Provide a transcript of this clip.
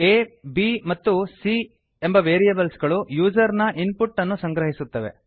a b ಮತ್ತು c A B ಮತ್ತು C variables ಗಳು ಯೂಸರ್ ನ ಇನ್ ಪುಟ್ ಅನ್ನು ಸಂಗ್ರಹಿಸುತ್ತವೆ